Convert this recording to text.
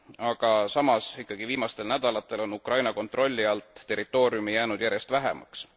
Aga samas ikkagi viimastel nädalatel on Ukraina kontrolli alt territooriumi jäänud järjest vähemaks.